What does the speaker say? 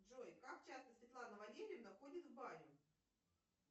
джой как часто светлана валерьевна ходит в баню